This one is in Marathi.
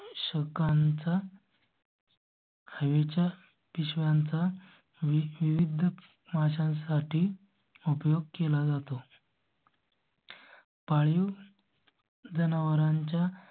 शकांचा हरी च्या शाळांचा विविध माझ्या साठी उपयोग केला जातो. पाळीव. जनावरांच्या